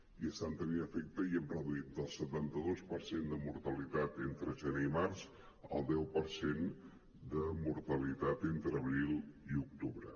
i estan tenint efecte i hem reduït del setanta dos per cent de mortalitat entre gener i març al deu per cent de mortalitat entre abril i octubre